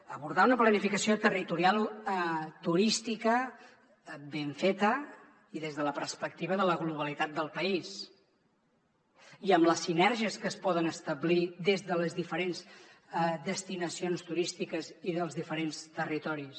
abordar una planificació territorial turística ben feta i des de la perspectiva de la globalitat del país i amb les sinergies que es poden establir des de les diferents destinacions turístiques i dels diferents territoris